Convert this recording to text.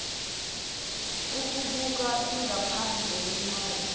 ukubuka ingaphandle lencwadi